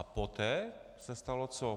A poté se stalo co?